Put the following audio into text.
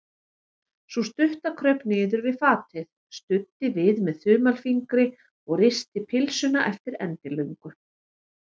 Sú stutta kraup niður við fatið, studdi við með þumalfingri og risti pylsuna eftir endilöngu.